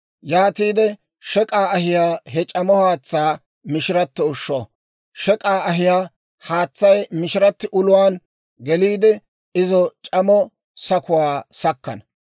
Yaatiide shek'k'aa ahiyaa he c'amo haatsaa mishirato ushsho; shek'k'aa ahiyaa haatsay mishiratti uluwaan geliide, izo c'amo sakuwaa sakkana.